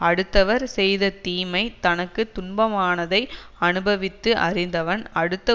அடுத்தவர் செய்த தீமை தனக்கு துன்பமானதை அனுபவித்து அறிந்தவன் அடுத்த